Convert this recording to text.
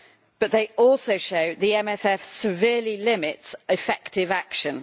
But they also show the MFF severely limits effective action.